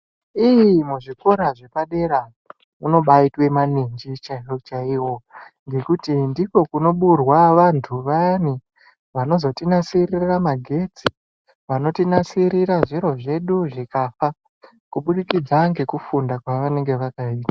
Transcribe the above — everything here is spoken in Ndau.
Iii muzvikora zvepadera munobaitwa maninji chaiwo chaiwo ngekuti ndiko kunoburwa vantu vayani vanozotinasirira magetsi vanotinasirira zviro zvedu zvikafa kubudikidza kubudikidza nekufunda kwavakaita.